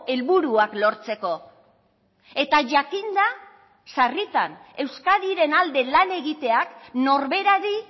helburuak lortzeko eta jakinda sarritan euskadiren alde lan egiteak norberari